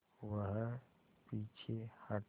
वह पीछे हटा